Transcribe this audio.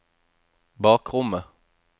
bakrommet